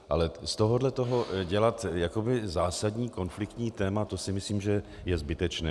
Ale z tohohle toho dělat jakoby zásadní konfliktní téma, to si myslím, že je zbytečné.